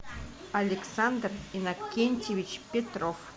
александр иннокентьевич петров